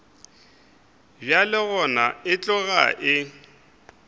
bjalo gona e tloga e